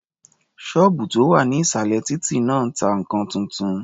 Ṣọ́ọ̀bù tó wà ní ìsàlẹ̀ títí náà ta nǹkan tuntun.